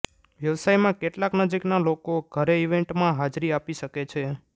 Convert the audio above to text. વ્યવસાયમાં કેટલાક નજીકના લોકો ઘરે ઇવેન્ટમાં હાજરી આપી શકે છે